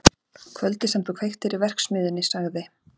Kvöldið sem þú kveiktir í verksmiðjunni sagði